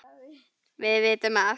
Við vitum að